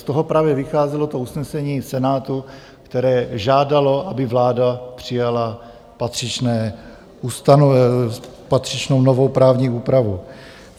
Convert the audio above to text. Z toho právě vycházelo to usnesení Senátu, které žádalo, aby vláda přijala patřičnou novou právní úpravu.